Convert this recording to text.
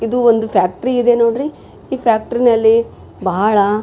ಇದು ಒಂದು ಫ್ಯಾಕ್ಟ್ರಿ ಇದೆ ನೋಡ್ರಿ ಈ ಫ್ಯಾಕ್ಟ್ರಿನಲ್ಲಿ ಬಹಳ --